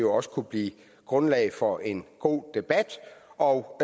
også kunne blive grundlag for en god debat og